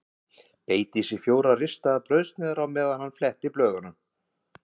Beit í sig fjórar ristaðar brauðsneiðar á meðan hann fletti blöðunum.